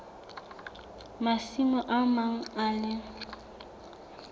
masimo a mang le a